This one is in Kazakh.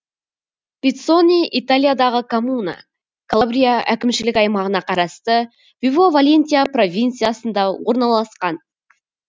пиццони италиядағы коммуна калабрия әкімшілік аймағына қарасты вибо валентия провинциясында орналасқан